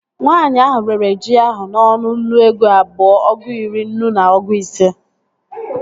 Nwaanyi ahụ rere ji ahụ n'ọnụ nnu ego abụọ, ọgụ iri, nnu na ọgụ ise